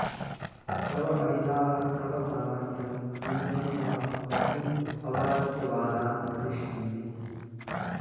तव अहिताः तव सामर्थ्यं निन्दन्तः बहून् अवाच्यवादान् वदिष्यन्ति